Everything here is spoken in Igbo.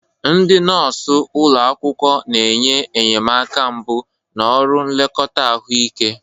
Ndị nọọsụ ụlọ akwụkwọ na-enye enyemaka mbụ na ọrụ nlekọta ahụike.